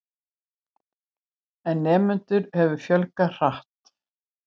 En nemendum hefur fjölgað hratt.